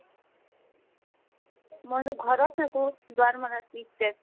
মই তো ঘৰ ত থাকো, দুৱাৰ্মাৰা tea state